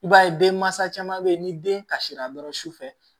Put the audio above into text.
I b'a ye denmansa caman bɛ yen ni den kasira dɔrɔn sufɛ